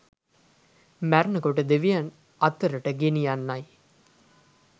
මැරෙන කොට දෙවියන් අතරට ගෙනියන්නයි.